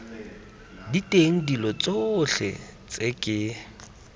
diteng dilo tsotlhe tse ke